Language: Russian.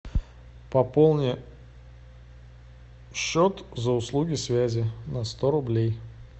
пополни счет за услуги связи на сто рублей